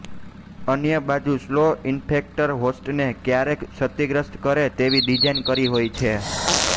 અન્ય બાજુ slow infector હોસ્ટને ક્યારેક જ ક્ષતિગ્રસ્ત કરે તેવી ડીઝાઈન કરી હોય છે